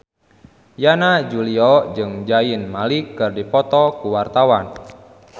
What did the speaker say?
Yana Julio jeung Zayn Malik keur dipoto ku wartawan